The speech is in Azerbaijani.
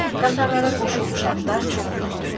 Qatarlara qoşulmuş atlar çox ürkdü.